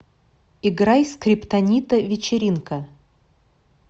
играй скриптонита вечеринка